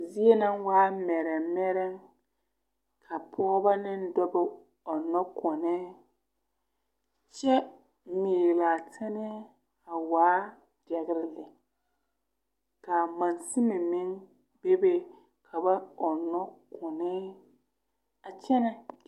Zie na waa mɛrɛmɛrɛm ka pɔɔbɔ ne dɔbɔ ɔnɔ kɔnnɛɛ kyɛ miilaa a tɛnnɛɛ a waa dɛɡre lɛ kaa mansime meŋ bebe ka ba ɔnnɔ kɔnɛɛ a kyɛnnɛ.